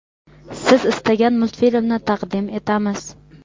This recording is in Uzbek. siz istagan multfilmni taqdim etamiz.